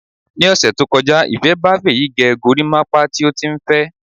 Ni ọ̀sẹ̀ tó kọjá, Ìfé ba Fèyí gẹ gorímápá tí ó tí n fẹ.